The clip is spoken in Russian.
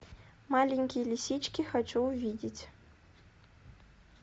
маленькие лисички хочу увидеть